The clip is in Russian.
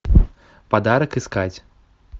подарок искать